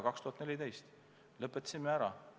2014. aastal lõpetasimegi ära.